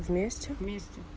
вместе вместе